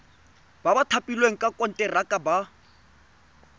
ba thapilweng ka konteraka ba